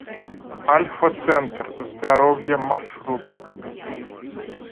альфа центр здоровья маршрут